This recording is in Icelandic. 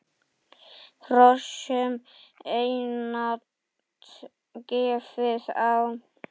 Hrossum einatt gefið á.